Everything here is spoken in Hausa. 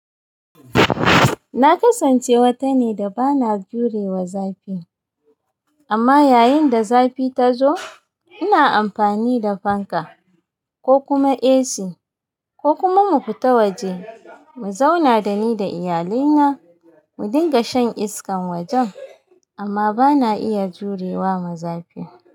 Na kasance wata ne da ba na jurewa zafi, amma yayin da zafi ta zo, ina amfani da fanka ko kuma AC ko kuma mu fita waje, mu zauna dani da iyalina, mu dinga shan iskan wajen. Amma ba na iya jurewa ma zafi.